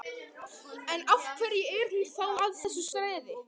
En, af hverju er hún þá að þessu streði?